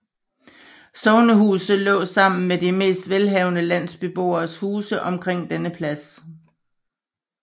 Sognehuset lå sammen med de mest velhavende landsbyboeres huse omkring denne plads